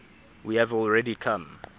we have already come